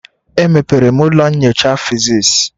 Emepere m ụlọ nyocha physics.